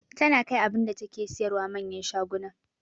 Tana kai abunda take siyarwa manyan shaguna